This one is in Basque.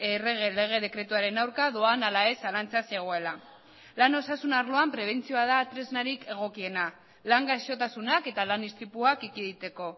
errege lege dekretuaren aurka doan ala ez zalantza zegoela lan osasun arloan prebentzioa da tresnarik egokiena lan gaixotasunak eta lan istripuak ekiditeko